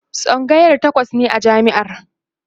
tsangaya takwas ne a jami'ar